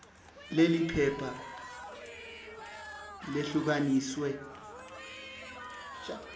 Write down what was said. leli phepha lehlukaniswe